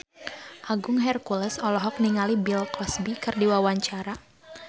Agung Hercules olohok ningali Bill Cosby keur diwawancara